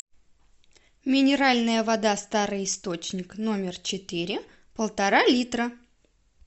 минеральная вода старый источник номер четыре полтора литра